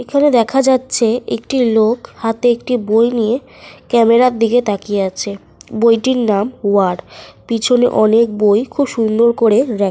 একটি রাকে পর পর সাজানো আছে। দেখতে খুব সুন্দর লাগছে। লোকটি সাদা রঙের একটি জামা পরে আছে।